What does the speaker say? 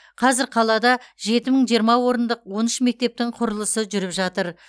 қазір қалада жеті мың жиырма орындық он үш мектептің құрылысы жүріп жатыр